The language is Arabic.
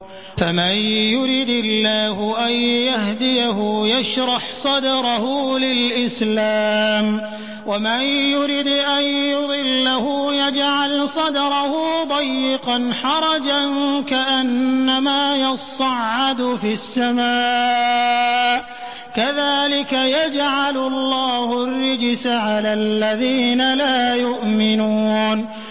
فَمَن يُرِدِ اللَّهُ أَن يَهْدِيَهُ يَشْرَحْ صَدْرَهُ لِلْإِسْلَامِ ۖ وَمَن يُرِدْ أَن يُضِلَّهُ يَجْعَلْ صَدْرَهُ ضَيِّقًا حَرَجًا كَأَنَّمَا يَصَّعَّدُ فِي السَّمَاءِ ۚ كَذَٰلِكَ يَجْعَلُ اللَّهُ الرِّجْسَ عَلَى الَّذِينَ لَا يُؤْمِنُونَ